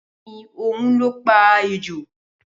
Bẹẹni ohun lọ pa ejò